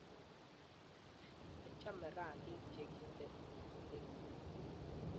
achame rangiik che kinte kutinguung